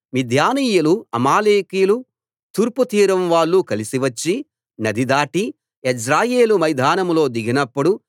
మిద్యానీయులు అమాలేకీయులు తూర్పు తీరం వాళ్ళు కలిసివచ్చి నది దాటి యెజ్రెయేలు మైదానంలో దిగినప్పుడు